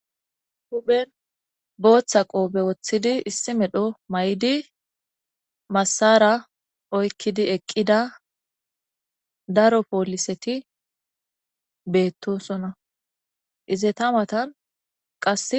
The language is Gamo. huphen booththa qoobe woththidi issi medho may7di massara oykkidi eqqida daro pooliseti beettosona izetamatanqa